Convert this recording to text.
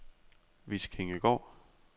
Viskingegård